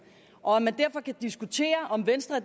og at man derfor kan diskutere om venstre